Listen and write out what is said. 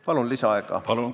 Palun lisaaega!